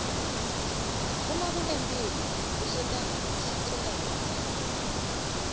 uma kunemphilo kusenta sicine kahle